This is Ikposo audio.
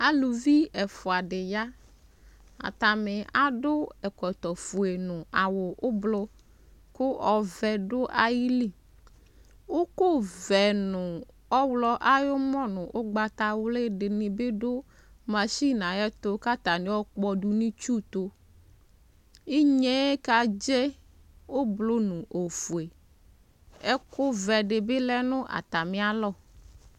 Alʋvi ɛfʋa dɩ ya, atanɩ adʋ ɛkɔtɔ fue nʋ awʋ ʋblʋ kʋ ɔvɛ dʋ ayili Ʋkʋ vɛ nʋ ɔɣlɔ ayʋ ʋmɔ nʋ ʋgbatawlɩ dɩnɩ bɩ dʋ masini yɛ ayʋ ɛtʋ kʋ atanɩ ayɔkpɔdʋ nʋ itsu ayʋ ɛtʋ Inye kadze ʋblɔ nʋ ofue, ɛkʋvɛ dɩ bɩ lɛ nʋ atamɩ alɔ